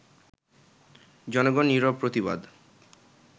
জনগণ নিরব প্রতিবাদ